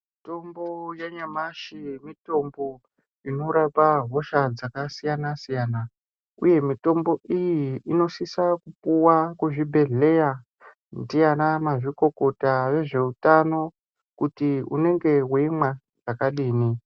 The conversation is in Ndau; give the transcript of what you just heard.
Mitombo yanyamashi mitombo inorapa hosha dzakasiyana siyana uye mitombo iyi inosisa kuwa kuzvibhedhleya ndianamazvikokota vezveutano kuti unenge weimwa zvakadini.